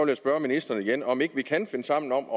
jeg spørge ministeren igen om ikke vi kan finde sammen om